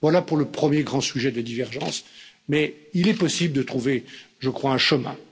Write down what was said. Voilà pour le premier grand sujet de divergence, mais il est possible de trouver, je crois, un chemin.